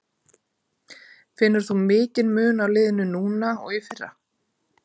Finnur þú mikinn mun á liðinu núna og í fyrra?